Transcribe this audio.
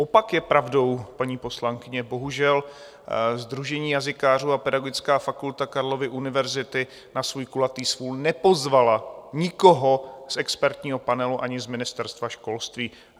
Opak je pravdou, paní poslankyně, bohužel, sdružení jazykářů a Pedagogická fakulta Karlovy univerzity na svůj kulatý stůl nepozvala nikoho z expertního panelu ani z Ministerstva školství.